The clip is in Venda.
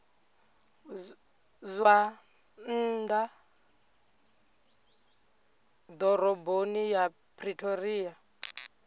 zwa nnḓa ḓoroboni ya pretoria